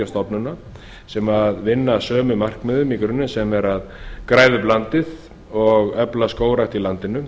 stofnana sem vinna að sömu markmiðum í grunninn sem er að græða upp landið og efla skógrækt í landinu